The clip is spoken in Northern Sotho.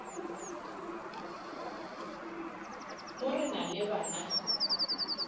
mo re na le bana